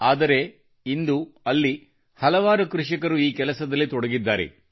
ಆದರೆ ಇಂದು ಅಲ್ಲಿ ಹಲವಾರು ಕೃಷಿಕರು ಈ ಕೆಲಸದಲ್ಲಿ ತೊಡಗಿದ್ದಾರೆ